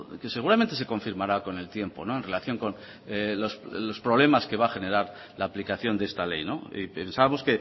que seguramente se confirmará con el tiempo en relación con los problemas que va a generar la aplicación de esta ley y pensamos